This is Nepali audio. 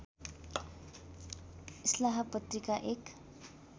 इस्लाह पत्रिका एक